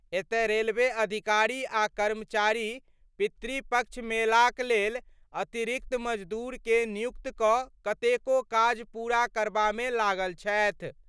एतय रेलवे अधिकारी आ कर्मचारी पितृपक्ष मेलाक लेल अतिरिक्त मजदूरके नियुक्त कड कतेको काज पूरा करबामे लागल छथि।